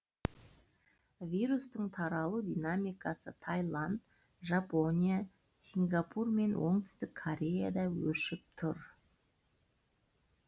вирустың таралу динамикасы тайланд жапония сингапур мен оңтүстік кореяда өршіп тұр